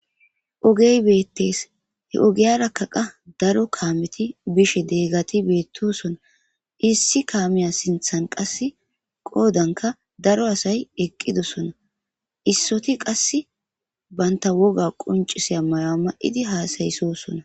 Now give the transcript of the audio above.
Oge betes he ogiyaraka qa daro kameti bishe diyageti issi kamiya sintan qase qodanka daro asay eqidosona isoti qase banta woga qonc'isiya mayuwa ma'idi hasaysosona.